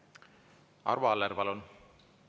Arvo Aller, palun!